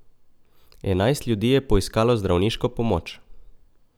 Enajst ljudi je poiskalo zdravniško pomoč.